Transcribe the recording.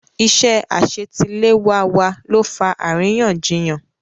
Iṣẹ́ àṣetiléwá wa ló fa àríyànjiyàn.